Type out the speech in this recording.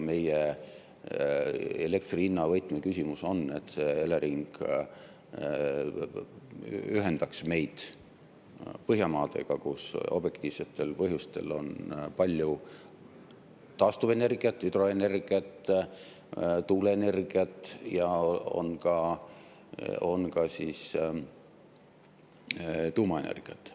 Meie elektri hinna võtmeküsimus on, et Elering ühendaks meid Põhjamaadega, kus objektiivsetel põhjustel on palju taastuvenergiat – hüdroenergiat, tuuleenergiat – ja on ka tuumaenergiat.